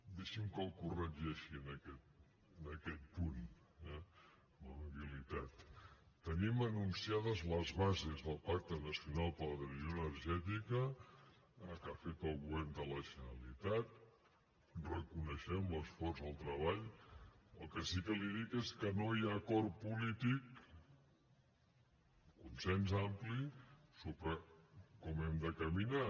deixi’m que el corregeixi en aquest punt eh amb amabilitat tenim anunciades les bases del pacte nacional per a la transició energètica que ha fet el govern de la generalitat en reconeixem l’esforç i el treball però el que sí que li dic és que no hi ha acord polític consens ampli sobre com hem de caminar